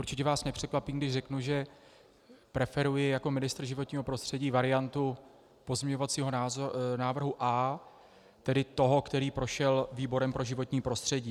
Určitě vás nepřekvapím, když řeknu, že preferuji jako ministr životního prostředí variantu pozměňovacího návrhu A, tedy toho, který prošel výborem pro životní prostředí.